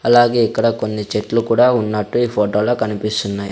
అలాగే ఇక్కడ కొన్ని చెట్లు కూడా ఉన్నట్టు ఈ ఫోటో లో కనిపిస్తున్నాయి.